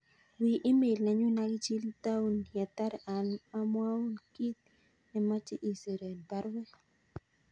Wi email nenyun agichil taun yetar amwaun kit namache isir en baruet